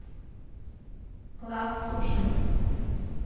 лав суши